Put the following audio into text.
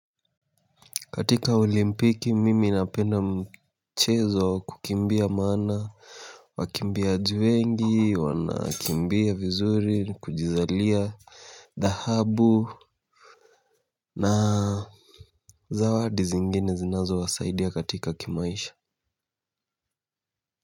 Katika olimpiki, mimi napenda mchezo wa kukimbia maana wakimbiaji wengi, wanakimbia vizuri, kujizalia, dhahabu, na zawadi zingine zinazowasaidia katika kimaisha.